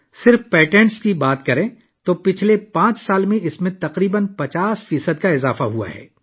صرف پیٹنٹ کی بات کریں تو پچھلے پانچ سالوں میں تقریباً 50 فیصد اضافہ ہوا ہے